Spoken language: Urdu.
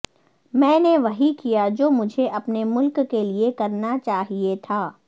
میں نے وہی کیا جو مجھے اپنے ملک کے لیے کرنا چاہیے تھا